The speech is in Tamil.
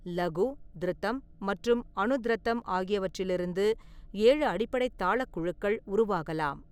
லகு, த்ருதம் மற்றும் அனுத்ர்தம் ஆகியவற்றிலிருந்து ஏழு அடிப்படை தாளக் குழுக்கள் உருவாகலாம்.